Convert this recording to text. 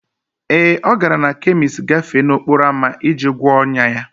Ee, ọ gara na kemist gafee n'okporo ámá iji gwọọ ọnyá ya